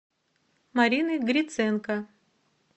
марины гриценко